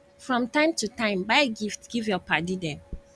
from time to time buy gift give your paddy dem